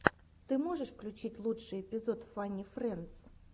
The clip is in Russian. ты можешь включить лучший эпизод фанни френдс